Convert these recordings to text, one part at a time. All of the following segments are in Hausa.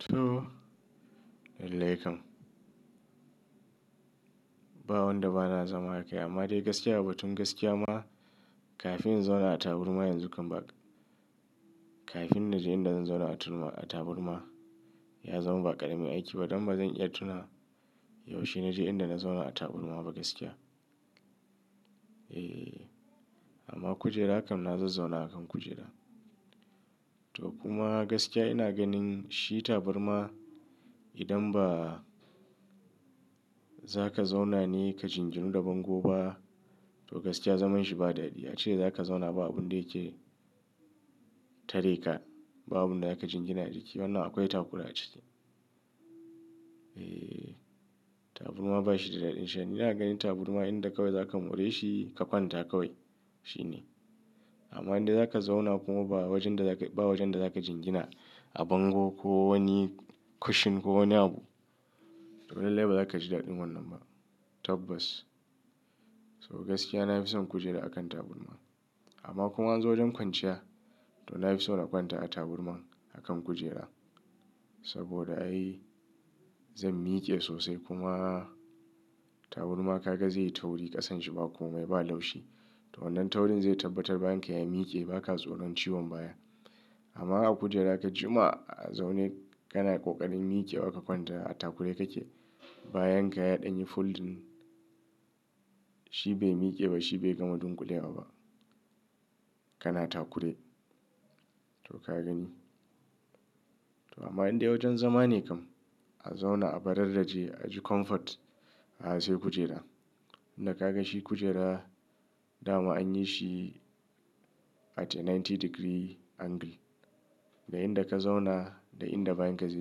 To, alallekam. Ba wanda ba na zama akai amma dai gaskiya batun gaskiya ma kafin in zauna a taburma yanzu kam bak-- kafin na je inda zan zauna a turma, a taburma ya zama ba ƙaramin aiki ba don bazan iya tuna yaushe naje inda na zauna a taburma ba gaskiya. Eh, amma kujera kam na zazzau na akan kujera. To kuma gaskiya ina ganin shi taburma idan ba za ka zauna ne ka jinginu da bango ba to gaskiya zaman shi ba daɗi. Ya ce za ka zauna ba abun da yake tareka, babu inda za ka jingina jiki wannan akwai takura a ciki. Eh, taburma bashi da daɗin sha'ani. Ina ganin taburma inda ka koya za ka more shi ka kwanta ka koya, shine. Amma inda za ka zauna kuma ba wajen da za ka, ba wajen da za ka jingina a bango ko wani cushion ko wani abu to lallai ba za ka ji daɗin wannan ba. Tabbas. So gaskiya na fi son kujera akan taburma amma kuma an zo don kwanciya to na fi son a kwanta a taburma akan kujera saboda ai zan miƙe sosai kuma taburma ka ga zai yi tauri ƙasan shi ba komai ba laushi to wannan taurin zai tabbatar bayan ka ya miƙe baka tsoron ciwon baya. Amma a kujera ka jima a zaune kana ƙoƙarin miƙewa ka kwanta a takure kake bayan ka yaɗa ni foldin shi bai miƙe ba shi bai gama dunƙulewa ba. Kana takure to ka gani. To amma inda wajen zama ne kam a zauna a bararraje a ji comfort a sai kujera. Inda ka ga shi kujera dama an yi shi at a ninety degree angle da inda ka zauna da inda bayan ka zai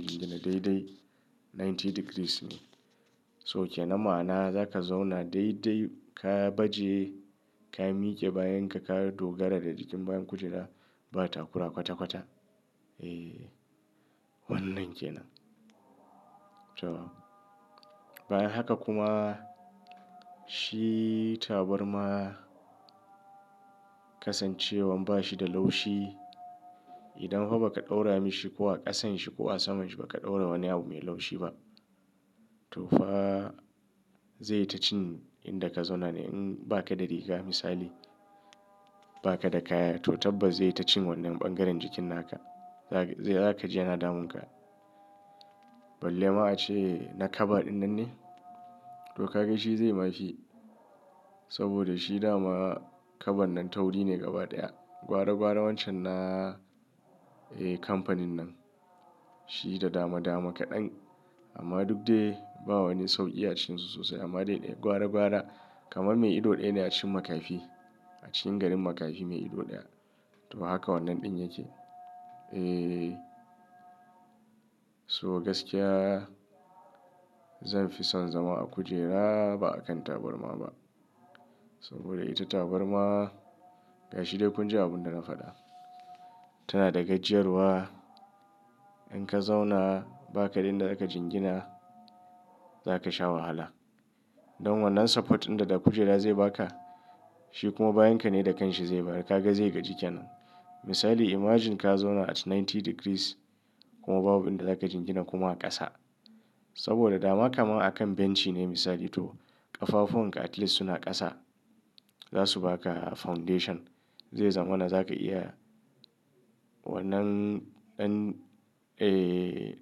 jingina daidai ninety degrees ne. So ke na ma'ana za ka zauna daidai ka baje ka miƙe bayan ka kawo dogara da jikin bayan kujera ba takura kwata kwata. Eh, wannan ke nan. To, bayan haka kuma shi taburma kasancewan bashi da laushi idan ha ba ka ɗaura mashi ko a ƙasan shi ko a saman shi ba ka ɗaura wani abu mai laushi ba to fa zai yi ta cin inda ka zauna ne in ba ka da riga misali ba ka da kaya to tabbas zai yi ta cin wannan ɓangaren jikin naka. Za ka, zaka ji yana damun ka. Balle ma a ce na kaba ɗin nan ne to ka ga shi zai ma shi saboda shi dama kaban nan tauri ne gaba ɗaya. Gwara gwara wancan na, eh kamfanin nan shi da dama dama kaɗan amma duk dai ba wani sauƙi ya cin su sosai amma dai gwara gwara kamar mai ido ɗaya yana cin makafi a cikin garin makafi mai ido ɗaya. To haka wannan ɗin yake. Eh, so gaskiya zan fi son zama a kujera ba akan taburma ba saboda ita taburma gashi dai kun ji abun da na faɗa. Tana da gajiyarwa in ka zauna ba kada in da za ka jingina za ka sha wahala. Don wannan support ɗin da kujera zai ba ka shi kuma bayan ka ne da kanshi zai bayar ka ga zai gaji ke nan. Misali imagine ka zauna at ninety degrees kuma babu abin da za ka jingina kuma a ƙasa saboda dama kama akan bench ne misali to ƙafafon ka at least suna ƙasa za su ba ka foundation zai zama wanda za ka iya wannan ɗan, eh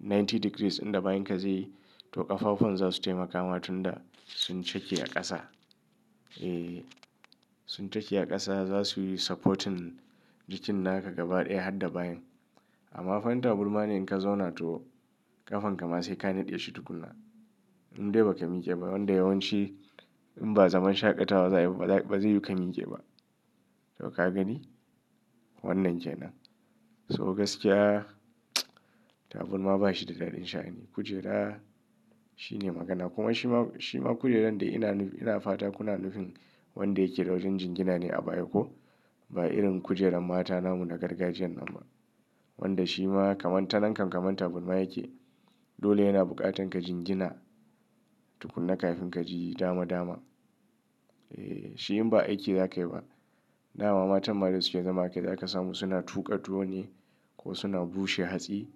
ninety degrees inda bayan ka zai yi to ƙafafon za su taimaka wa tun da sun cake a ƙasa. Eh, sun cake a ƙasa za su yi supporting jikin naka gaba ɗaya har da bayan. Amma fanta taburma ne in ka zauna to ƙafan ka ma sai ka naɗe shi tukunna. Indai ba ka miƙe ba wanda yawanci in ba zaman shaƙatawa za a yi ba ba zai yuka miƙe ba. To ka gani wannan ke nan. So gaskiya taburma bashi da daɗin sha'ani. Kujera shine magana kuma shi ma, shi ma kujeran da ina, ina fata kuna nufin wanda yake da wajen jingina ne a baya ko? Ba irin kujeran mata namu na gargajiyan nan ba. Wanda shi ma kamar ta nan kam kamar taburma yake dole yana buƙatan ka jingina tukuna kafin ka ji dama dama. Eh, shi in ba aiki za ka yi ba dama matan ma da suke zama akai za ka samu suna tuƙa tuwo ne ko suna bushe hatsi.